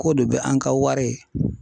K'o de bɛ an ka wari.